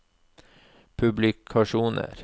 publikasjoner